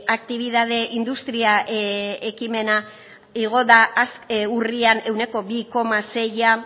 aktibitate industria ekimena igo da urrian ehuneko bi koma seia